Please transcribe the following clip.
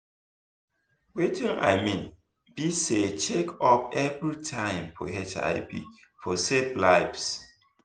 watin i mean be saycheck up every time for hiv for save lives